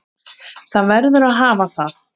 Það verður að hafa það.